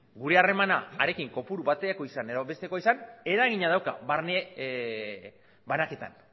gure harremana harekin kopuru batekoa izan edo bestekoa izan eragina dauka barne banaketan